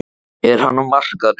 Er hann á markaðnum?